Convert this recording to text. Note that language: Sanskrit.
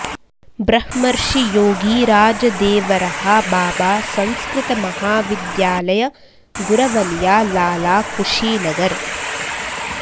ब्रह्मर्षि योगीराज देवरहा बाबा संस्कृत महाविद्यालय गुरवलिया लाला कुशीनगर